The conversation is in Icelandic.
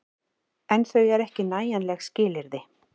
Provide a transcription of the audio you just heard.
En þau eru ekki nægjanleg skilyrði.